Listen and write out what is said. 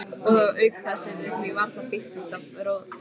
Og auk þess yrði því varla beitt út af rotþró.